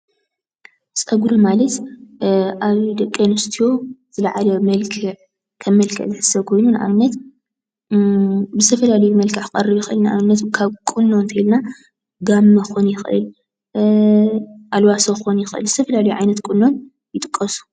ፀጉሪ ማለት ኣብ ደቂ ኣንስትዮ ዝለዓለ መልክዕ ከም መልክዕ ዝሕሰብ ኮይኑ፤ ንኣብነት፦ ብዝተፈላለዩ መልክዕ ክቀርብ ይኽእል እዩ። ካብ ቁኖ እንተይልና ጋመ ክኾውን ይኽእል፣ ኣልባሶ ክኾን ይኽእል ዝተፈላላየ ቁኖ ይጥቀሱ።